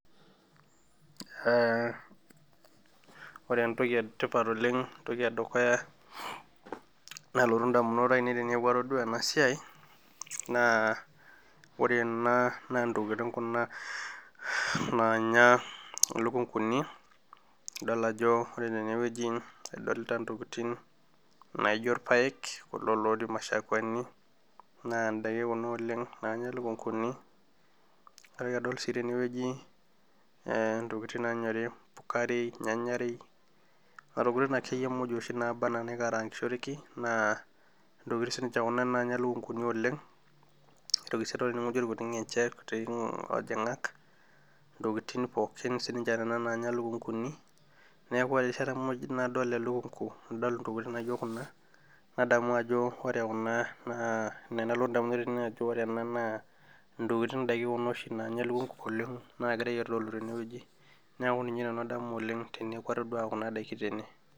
Eeeh ore entoki etipat oleng entoki edukuya nalotu indamunot aainei tenadol ena siai naa ore enaa naa intokitin kuna naanya ilukunkuni idol ajo ore tenewueji idolita intokitin naijio irpaek kulo lootii imashakwani naa indaiki kuna oleng naanya ilukunkuni naitoki adol sii tenewueji ee intokitin naanyori nena tokitin akeyie muj naikaraankishoreki naa intokitin sininche kuna naanya ilukunkuni oleng aitiki adol irkuti ajing'ak intokitin ninche nena naanya ilukunkuni neeku ore erishata nadol elunkunku nadol intokitin naijio kuna nadamu ore naa idaiki kuna oshi naanya elukunku oleng ninche egirai aitodolu tenewueji.